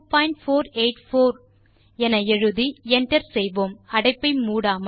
round2484 எழுதி enter செய்வோம் அடைப்பை மூடாமல்